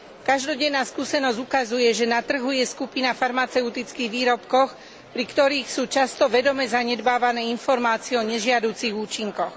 Každodenná skúsenosť ukazuje, že na trhu je skupina farmaceutických výrobkov, pri ktorých sú často vedome zanedbávané informácie o nežiaducich účinkoch.